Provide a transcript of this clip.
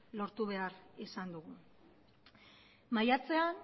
lortu behar izan dugu maiatzean